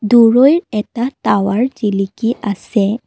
দূৰৈই এটা টাৱাৰ জিলিকি আছে।